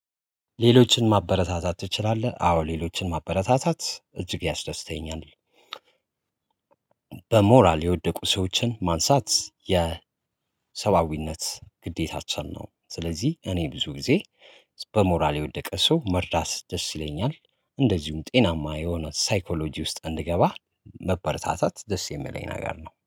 ሌሎችን ማበረታታት ትችላለህ? አዎ ሌሎችን ማበረታታት እጅግ ያስደስተኛል በሞራል የወደቁ ሰዎችን ማንሳት የሰባዊነት ግዴታችን ነው። ስለዚህ እኔ ብዙ ጊዜ በሞራል የወደቀ ሰው መርዳት ደስ ይለኛል። እንደዚሁም ጤናማ የሆነ ሳይኮሎጂ ውስጥ እንድገባ መበረታታት ደስ የሚለኝ ነገር ነው